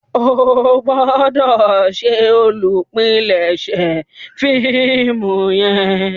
o gbọdọ ṣe olùpilèsè fíìmù yen.